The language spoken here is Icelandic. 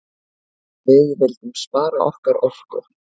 Við vildum spara okkar orku.